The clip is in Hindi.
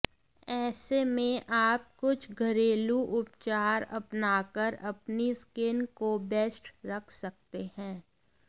ऐसे में आप कुछ घरेलू उपचार अपनाकर अपनी स्किन को बेस्ट रख सकते हैं